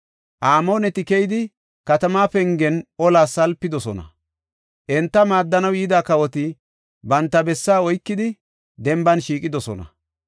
Amooneti keyidi katamaa pengen olas salpidosona. Enta maaddanaw yida kawoti banta bessaa oykidi denban shiiqidosona.